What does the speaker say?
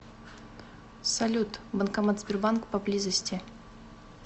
салют банкомат сбербанк поблизости